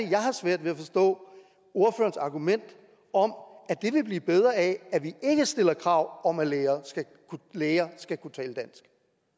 at jeg har svært ved at forstå ordførerens argument om at det vil blive bedre af at vi ikke stiller krav om at læger læger skal kunne tale dansk